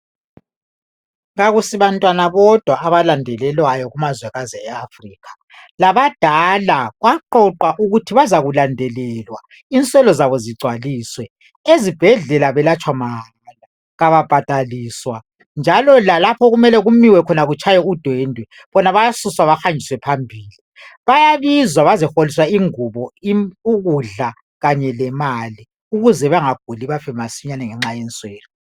Akusabantwana bodwa abalandelelwayo kumazwe eAfrika, labadala kwaqoqwa ukuthi bazokulandelelwa inswelo zabo zigcwaliswe. Ezibhedlela belatshwa mahala kababhadaliswa, njalo lalapho okumele batshaye khona udwendwe bona bayasuswa behanjiswa phambili. Bayabiza bazeholiswa ingubo, ukudla kanye lemali ukuze bengaguli bafe bebulawa zinswelo.